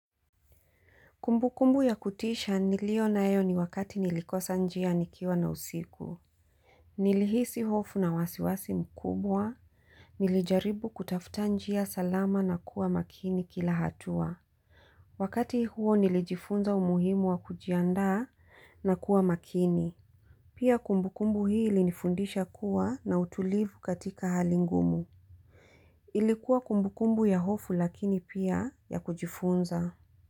Kumbukumbu ya kutisha niliyo nayo ni wakati nilikosa njia nikiwa na usiku. Nilihisi hofu na wasiwasi mkubwa, nilijaribu kutafuta njia salama na kuwa makini kila hatua. Wakati huo nilijifunza umuhimu wa kujiandaa na kuwa makini. Pia kumbukumbu hii ilinifundisha kuwa na utulivu katika hali ngumu. Ilikuwa kumbu kumbu ya hofu lakini pia ya kujifunza.